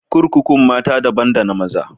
Kurkukun mata dabban da na maza.